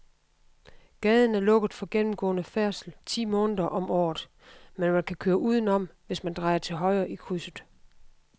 Gaden er lukket for gennemgående færdsel ti måneder om året, men man kan køre udenom, hvis man drejer til højre i krydset.